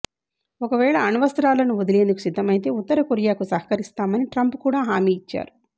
ఒకవేళ అణ్వస్త్రాలను వదిలేందుకు సిద్ధమైతే ఉత్తరకొరియాకు సహకరిస్తామని ట్రంప్ కూడా హామీ ఇచ్చారు